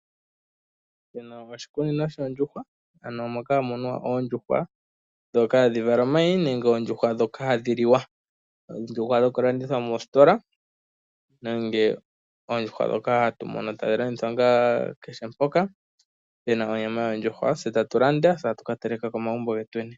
Shino oshikunino shoondjuhwa, moka hamu munwa oondjuhwa dhoka hadhi vala omayi, nenge oondjuhwa ndhoka hadhiliwa. Oondjuhwa dhoku landitha moositola nenge oondjuhwa dhoka hatu mono tadhi landithwa ngaa kehe mpoka puna onyama yondjuhwa tse tatu landa etatu kateleka komagumbo getweni.